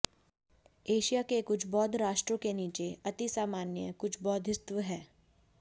Asia के कुछ बौद्ध राष्ट्रों में नीचे अति सम्माननीय कुछ बोधिसत्त्व है